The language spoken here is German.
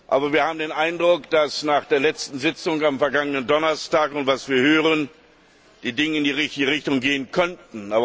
Aber wir haben den Eindruck, dass nach der letzten Sitzung am vergangenen Donnerstag und nach dem, was wir hören, die Dinge in die richtige Richtung gehen könnten.